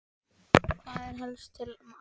Hvað er helst til ama?